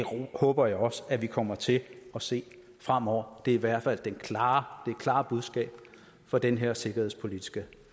håber jeg også at vi kommer til at se fremover det er i hvert fald det klare klare budskab for den her sikkerhedspolitiske